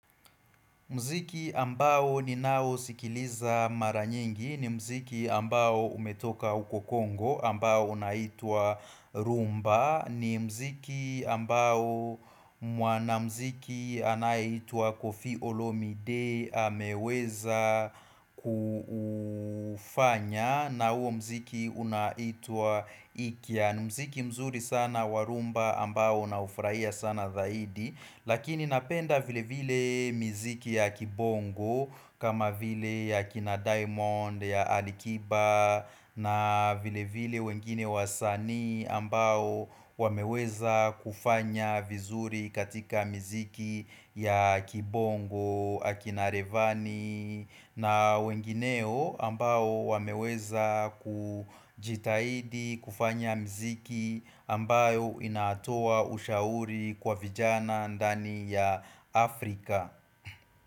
Mziki ambao ninao sikiliza mara nyingi ni mziki ambao umetoka huko Kongo ambao unaitwa rumba ni mziki ambao mwanamziki anayeitwa kofi olomide ameweza kufanya na huo mziki unaitwa ikia ni mziki mzuri sana wa rumba ambao unaufurahia sana zaidi Lakini napenda vile vile miziki ya kibongo kama vile ya kina diamond, ya alikiba na vile vile wengine wasanii ambao wameweza kufanya vizuri katika miziki ya kibongo akina revani na wengineo ambao wameweza kujitahidi kufanya mziki ambayo inatoa ushauri kwa vijana ndani ya Afrika.